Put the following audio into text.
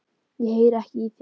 Ég heyri ekki í þér.